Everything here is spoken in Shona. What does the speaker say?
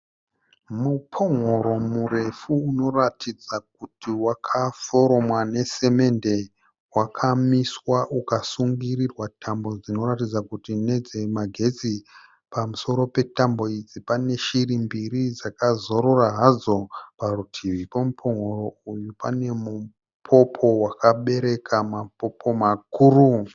Mupon'oro murefu unoratidza kuti wakaforomwa nesemende. Wakamiswa uka sungirirwa tambo dzinoratidza kuti ndedze magetsi. Pamusoro petambo idzi pane shiri mbiri dzaka zorora hadzo. Parutivi pemupon'oro uyu pane mupopo wakabereka mapopo makuru.